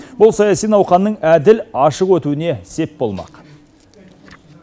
бұл саяси науқанның әділ ашық өтуіне сеп болмақ